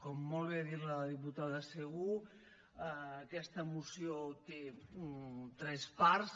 com molt bé ha dit la diputada segú aquesta moció té tres parts